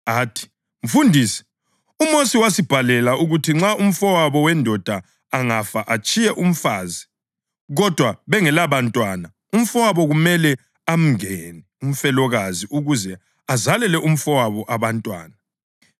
Athi, “Mfundisi, uMosi wasibhalela ukuthi nxa umfowabo wendoda angafa atshiye umfazi, kodwa bengelabantwana, umfowabo kumele amngene umfelokazi ukuze azalele umfowabo abantwana.